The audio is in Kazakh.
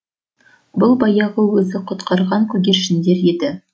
бұл баяғы өзі құтқарған көгершіндер еді